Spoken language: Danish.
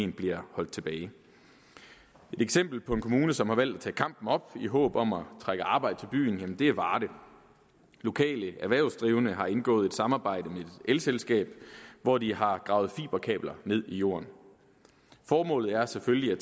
bliver holdt tilbage et eksempel på en kommune som har valgt at tage kampen op i håb om at trække arbejde til byen er varde lokale erhvervsdrivende har indgået et samarbejde med et elselskab hvor de har gravet fiberkabler ned i jorden formålet er selvfølgelig